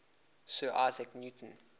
sir isaac newton